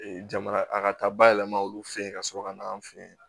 jamana a ka taa bayɛlɛma olu fɛ yen ka sɔrɔ ka na an fɛ yen